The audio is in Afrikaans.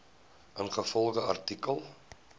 ingevolge artikel